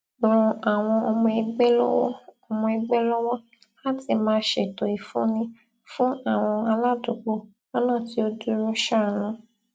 ran àwọn ọmọ ẹgbẹ lọwọ ọmọ ẹgbẹ lọwọ láti máa ṣètò ìfúnni fún àwọn aládùúgbò lọnà tí ó dúró sánún